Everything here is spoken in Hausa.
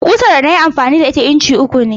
Ƙusar da na yi amfani da ita inci uku ce.